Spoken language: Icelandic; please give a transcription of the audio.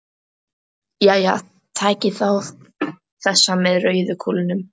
Jæja, takið þið þá þessa með rauðu kúlunum.